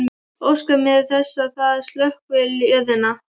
Óska mér þess að það sökkvi í jörðina.